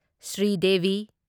Sridevi